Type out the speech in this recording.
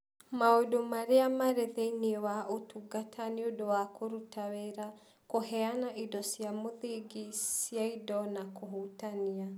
Maũndũ Marĩa Marĩ Thĩinĩ wa Ũtungata nĩ ũndũ wa kũruta wĩra Kũheana indo cia mũthingi cia indo na kũhutania